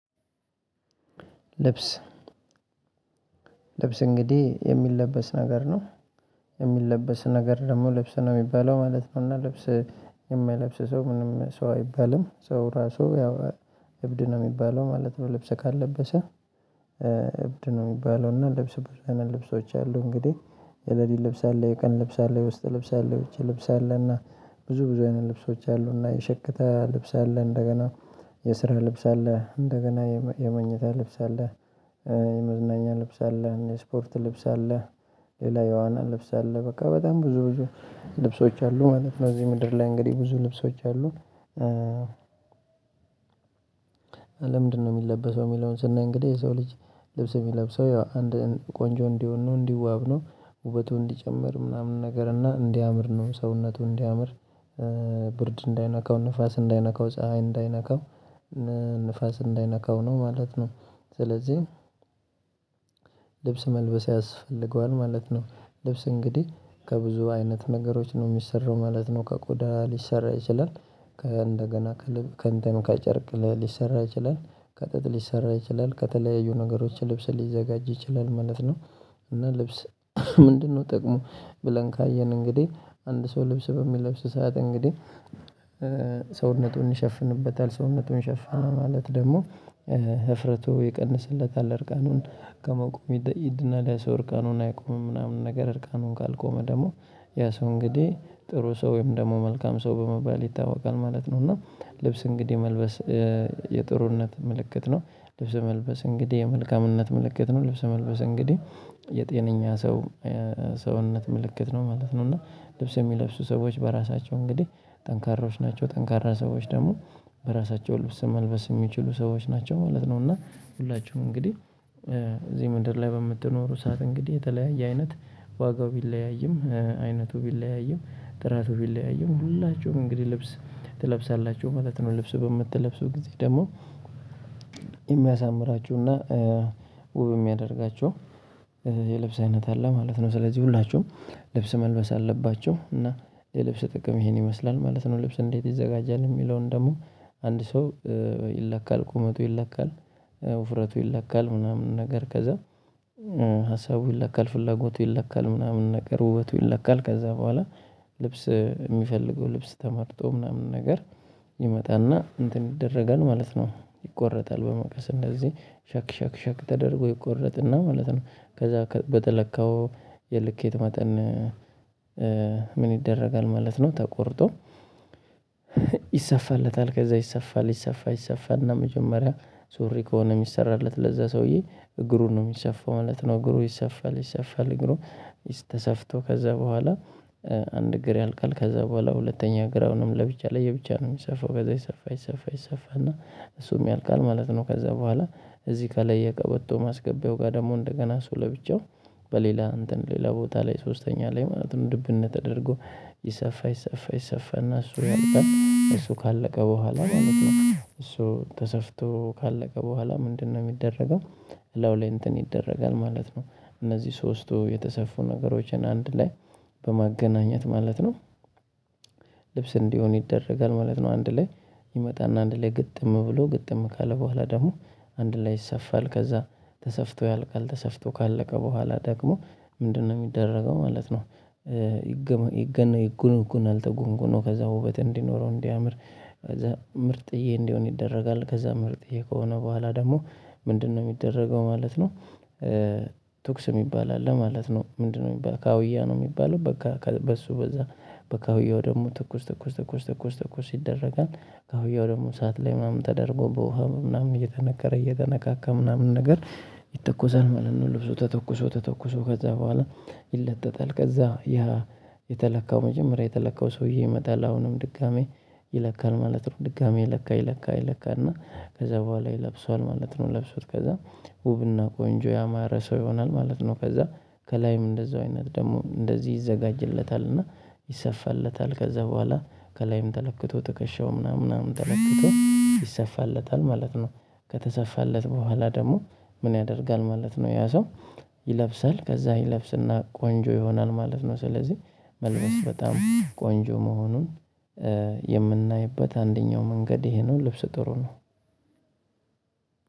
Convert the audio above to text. ልብስ ልብስ እንግዲህ የሚለበስ ነገር ነው የሚለበስ ነገር ደግሞ ልብስ ነው የሚባለው ማለት ነው። እና ልብስ የማይለብስ ሰው ምንም ሰው አይባልም። ሰው ራሱ ያው እብድ ነው የሚባለው ማለት ነው። ልብስ ካልለበሰ እብድ ነው። የሚባለው እና ልብስ ብዙ አይነት ልብሶች አሉ። እንግዲህ የለሊት ልብስ አለ የቀን ልብስ አለ የውስጥ ልብስ አለ የውጭ ልብስ አለ እና ብዙ ብዙ አይነት ልብሶች አሉ። እና የሸክተህ ልብስ አለ እንደገና የስራ ልብስ አለ እንደገና የመኝታ ልብስ አለ። የመዝናኛ ልብስ አለ የስፖርት ልብስ አለ። ሌላ የዋና ልብስ አለ በቃ በጣም ብዙ ብዙ ልብሶች አሉ ማለት ነው። እዚህ ምድር ላይ እንግዲህ ብዙ ልብሶች አሉ። ለምንድነው የሚለበሰው የሚለውን ስናይ? እንግዲህ የሰው ልጅ ልብስ የሚለብሰው ያው አንድ ቆንጆ እንዲሆን ነው እንዲዋብ ነው። ውበቱ እንዲጨምር ምናምን ነገር እና እንዲያምር ነው ሰውነቱ እንዲያምር። ብርድ እንዳይነካው ንፋስ እንዳይነካው ፀሀይ እንዳይነካው ንፋስ እንዳይነካው ነው ማለት ነው። ስለዚህ ልብስ መልበስ ያስፈልገዋል ማለት ነው። ልብስ እንግዲህ ከብዙ አይነት ነገሮች ነው የሚሰራው ማለት ነው። ከቆዳ ሊሰራ ይችላል። ከእንደገና ከእንተን ከጨርቅ ሊሰራ ይችላል። ከጥጥ ሊሰራ ይችላል ከተለያዩ ነገሮች ልብስ ሊዘጋጅ ይችላል ማለት ነው። እና ልብስ ምንድነው ጥቅሙ? ብለን ካየን እንግዲህ አንድ ሰው ልብስ በሚለብስ ሰዓት እንግዲህ ሰውነቱን ይሸፍንበታል ሰውነቱን ሸፈነ ማለት ደግሞ ህፍረቱ ይቀንስለታል። እርቃኑን ከመቆም ይድናል። ያ ሰው እርቃኑን አይቆምም ምናምን ነገር እርቃኑን ካልቆመ ደግሞ ያ ሰው እንግዲህ ጥሩ ሰው ወይም ደግሞ መልካም ሰው በመባል ይታወቃል ማለት ነው። እና ልብስ እንግዲህ መልበስ የጥሩነት ምልክት ነው። ልብስ መልበስ እንግዲህ የመልካምነት ምልክት ነው ልብስ መልበስ እንግዲህ የጤነኛ ሰው ሰውነት ምልክት ነው ማለት ነው። እና ልብስ የሚለብሱ ሰዎች በራሳቸው እንግዲህ ጠንካራዎች ናቸው። ጠንካራ ሰዎች ደግሞ በራሳቸው ልብስ መልበስ የሚችሉ ሰዎች ናቸው ማለት ነው። እና ሁላችሁም እንግዲህ እዚህ ምድር ላይ በምትኖሩ ሰዓት እንግዲህ የተለያየ አይነት ዋጋው ቢለያይም አይነቱ ቢለያይም ጥራቱ ቢለያይም ሁላችሁም እንግዲህ ልብስ ትለብሳላችሁ ማለት ነው። ልብሱ በምትለብሱ ጊዜ ደግሞ የሚያሳምራችሁና ውብ የሚያደርጋቸው የልብስ አይነት አለ ማለት ነው። ስለዚህ ሁላችሁም ልብስ መልበስ አለባቸሁ እና የልብስ ጥቅም ይሄን ይመስላል ማለት ነው። ልብስ እንዴት ይዘጋጃል? የሚለውን ደግሞ አንድ ሰው ይለካል ቁመቱ ይለካል። ውፍረቱ ይለካል ምናምን ነገር ከዛ። ሀሳቡ ይለካል ፍላጎቱ ይለካል ምናምን ነገር ውበቱ ይለካል ከዛ በኋላ ልብስ የሚፈልገው ልብስ ተመርጦ ምናምን ነገር ይመጣና እንትን ይደረጋል ማለት ነው። ይቆረጣል በመቀስ እንደዚህ ሻክ ሻክ ሻክ ተደርጎ ይቆረጥና ማለት ነው። ከዛ በተለካው የልኬት መጠን ምን ይደረጋል ማለት ነው? ተቆርጦ ይሰፋለታል። ከዛ ይሰፋል ይሰፋ ይሰፋ እና መጀመሪያ ሱሪ ከሆነ የሚሰራለት ለዛ ሰውዬ እግሩን ነው የሚሰፋው ማለት ነው። እግሩ ይሰፋል ይሰፋል እግሩ ተሰፍቶ ከዛ በኋላ አንድ እግር ያልቃል። ከዛ በኋላ ሁለተኛ ግራውንም ለብቻ ለየብቻ ነው የሚሰፋው ከዛ ይሰፋ ይሰፋ ይሰፋ እና እሱም ያልቃል ማለት ነው። ከዛ በኋላ እዚህ ከላይ የቀበቶ ማስገቢያው ጋር ደግሞ እንደገና እሱ ለብቻው በሌላ እንትን ሌላ ቦታ ላይ ሶስተኛ ላይ ማለት ነው። ድብን ተደርጎ ይሰፋ ይሰፋ ይሰፋ እና እሱ ያልቃል። እሱ ካለቀ በኋላ ማለት ነው እሱ ተሰፍቶ ካለቀ በኋላ ምንድነው የሚደረገው? እላዩ ላይ እንትን ይደረጋል ማለት ነው። እነዚህ ሶስቱ የተሰፉ ነገሮችን አንድ ላይ በማገናኘት ማለት ነው ልብስ እንዲሆን ይደረጋል ማለት ነው። አንድ ላይ ይመጣና አንድ ላይ ግጥም ብሎ ግጥም ካለ በኋላ ደግሞ አንድ ላይ ይሰፋል ከዛ ተሰፍቶ ያልቃል። ተሰፍቶ ካለቀ በኋላ ደግሞ ምንድነው የሚደረገው? ማለት ነው። ይገነጐናል ተጎንጉኖ ከዛ ውበት እንዲኖረው እንዲያምር ከዛ ምርጥዬ እንዲሆን ይደረጋል። ከዛ ምርጥዬ ከሆነ በኋላ ደግሞ ምንድነው የሚደረገው? ማለት ነው። ትኩስ የሚባል አለ ማለት ነው። ምንድነው ሚባለው? ካውያ ነው የሚባለው በቃ በሱ በዛ በካውያው ደግሞ ትኩስ ትኩስ ትኩስ ትኩስ ትኩስ ትኩስ ትኩስ ይደረጋል ካውያው ደግሞ እሳት ላይ ምናምን ተደርጎ በውሃ ምናምን እየተነከረ እየተነካካ ምናምን ነገር ይተኮሳል ማለት ነው። ልብሶ ተተኩሶ ተተኩሶ ከዛ በኋላ ይለጠጣል ከዛ ያ የተለካው መጀመሪያ የተለካው ሰውዬ ይመጣል አሁንም ድጋሜ ይለካል ማለት ነው። ድጋሜ ይለካ ይለካ ይለካና ከዛ በኋላ ይለብሰዋል ማለት ነው። ለብሶት ከዛ ውብና ቆንጆ ያማረ ሰው ይሆናል ማለት ነው። ከዛ ከላይም እንደዛው አይነት ደግሞ እንደዚህ ይዘጋጅለታል እና ይሰፋለታል ከዛ በኋላ ከላይም ተለክቶ ትከሻው ምናምን ምናምን ተለክቶ ይሰፋለታል ማለት ነው። ከተሰፋለት በኋላ ደግሞ ምን ያደርጋል? ማለት ነው ያ ሰው ይለብሰል ከዛ ይለብስና ቆንጆ ይሆናል ማለት ነው። ስለዚህ መልበስ በጣም ቆንጆ መሆኑን የምናይበት አንደኛው መንገድ ይሄ ነው። ልብስ ጥሩ ነው።